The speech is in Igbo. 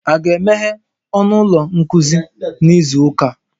A ga-emeghe ọnụ ụlọ nkuzi n'izu ụka?